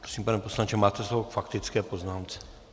Prosím, pane poslanče, máte slovo k faktické poznámce.